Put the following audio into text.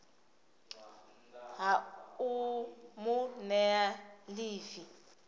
ha u mu nea ḽivi